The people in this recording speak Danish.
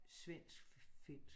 Svensk-finsk